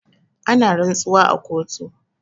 Ana rantsuwa a kotu.